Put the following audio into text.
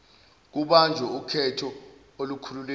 kubanjwe ukhetho olukhululekile